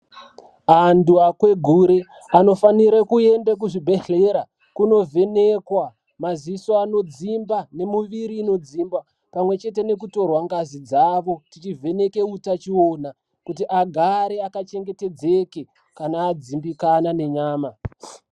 Antu akwegure anofanire kuende kuzvibhehlera kunovhenekwa maziso anodzimba kunovhekwa maziso anodzimba nemuviri inodzimba pamwechete nekutorwa ngazi dzavo tichivheneke utachiwana kuti agare akachengetedzeke kana adzimbikana nenyama.